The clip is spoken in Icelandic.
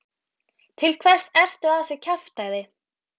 Til hvers ertu að þessu kjaftæði?